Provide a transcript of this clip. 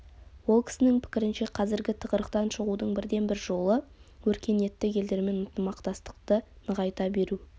ол кісінің пікірінше қазіргі тығырықтан шығудың бірден бір жолы өркениетті елдермен ынтымақтастықты нығайта беру